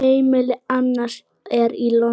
Heimili hans er í London.